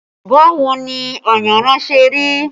Báwo ni ayanran ṣe rí?